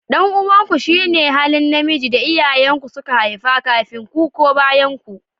Dan uwanku shine halin namiji da iyayen ku suka haifa kafin ku ko bayanku